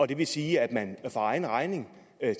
det vil sige at man for egen regning